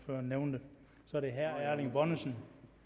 nævnte herre erling bonnesen